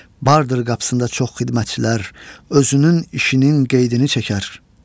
Bardır qapısında çox xidmətçilər, özünün işinin qeydini çəkər.